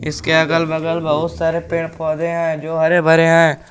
इसके अगल बगल बहुत सारे पेड़ पौधे हैं जो हरे भरे हैं।